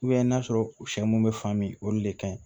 n'a sɔrɔ u bɛ fan min olu de ka ɲi